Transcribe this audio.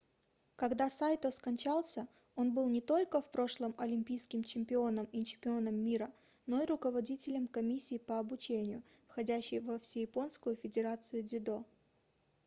когда сайто скончался он был не только в прошлом олимпийским чемпионом и чемпионом мира но и руководителем комиссии по обучению входящей во всеяпонскую федерацию дзюдо